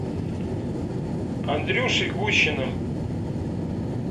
андрюшей гущиным